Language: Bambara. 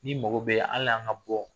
N'i mago bɛ hali an ka bɔ